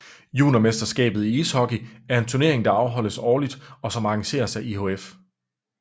Juniorverdensmesterskabet i ishockey er en turnering der afholdes årligt og som arrangeres af IIHF